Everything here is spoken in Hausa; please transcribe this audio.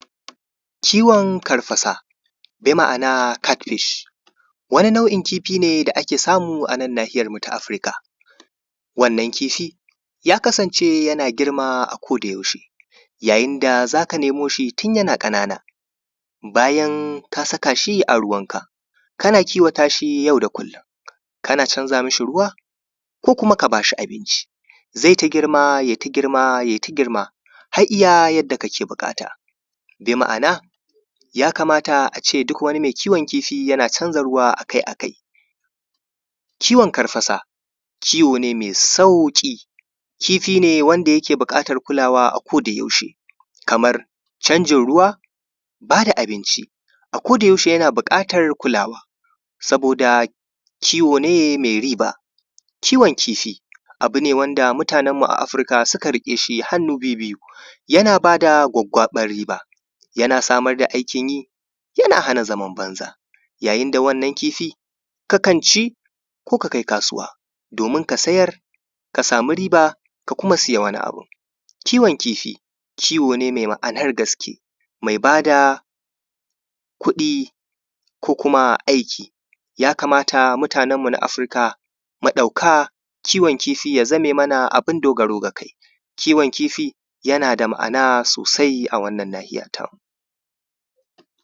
ciwon karfasa bi ma’ana cat fish wani nau’in kifi da ake samu a nahiyar mu ta afirika wannan kifi ya kasance yana girma a koda yaushe yayin da za ka nemo shi tun yana ƙanana bayan ka saka shi a ruwan ka kana kiwata shi yau da kullum kana canja ma shi ruwa ko kuma ka bashi abinci zai ta girma yai ta girma yai ta girma har iya yanda kake buƙata bi ma’ana ya kamata a ce duk wani mai kiwon kifi yana canja ruwa akai akai kiwon karfasa kiwo ne mai sauƙi kifi ne wanda yake buƙatan kulawa a ko yaushe kamar canjin ruwa ba da abinci a koda yaushe yana buƙatan kulawa saboda kiwo ne mai riba kiwon kifi abu ne wanda mutanen mu na afirika suka riƙe hannu biyu biyu yana ba da gwaggwaɓan riba yana samar da aikin yi yana hana zaman banza yayin da wannan kifi ka kan ci ko ka kai kasuwa domin ka sayar ka sami riba ka kuma ka sayi wani abu kiwon kifi kiwo ne mai ma’anar gaske mai ba da kuɗi ko kuma aikin ya kamata mutanen mu a afirika mu ɗauka kiwon kifi ya zame mana abin dogaro ga kai kiwon kifi yana da maana sosai a wannan nahiyar ta mu